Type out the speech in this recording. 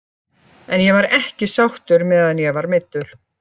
En ég var ekki sáttur meðan ég var meiddur.